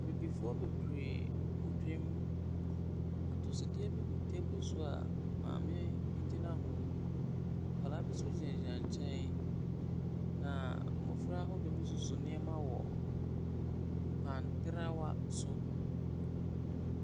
Abibifoɔ bebree wɔ dwam. Atosodeɛ bi gu table so a maame bi gyina ho. Nkwadaa bi nso gyinagyina nkyɛn, na mmɔfra ahodoɔ bi soso nneɛma wɔ pan trawa so.